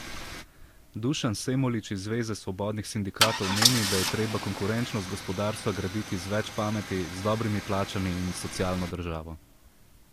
Dušan Semolič iz zveze svobodnih sindikatov meni, da je treba konkurenčnost gospodarstva graditi z več pameti, z dobrimi plačami in socialno državo.